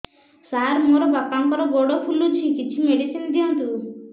ସାର ମୋର ବାପାଙ୍କର ଗୋଡ ଫୁଲୁଛି କିଛି ମେଡିସିନ ଦିଅନ୍ତୁ